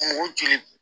O joli